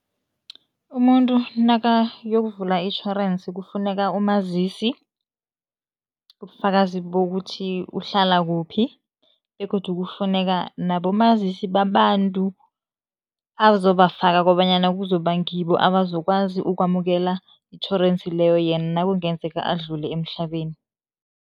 Umuntu nakayokuvula itjhorensi kufuneka umazisi, ubufakazi bokuthi uhlala kuphi begodu kufuneka nabomazisi babantu azobafaka kobanyana kuzoba ngibo abazokwazi ukwamukela itjhorensi leyo yena nakungenzeka adlule emhlabeni.